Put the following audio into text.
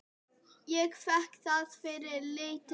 Ég fékk það fyrir lítið.